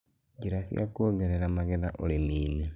njĩra cia kuongerera magetha ũrĩmi inĩ